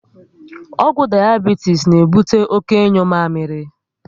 Ọgwụ dayabitis na ebute oké ịnyu mamịrị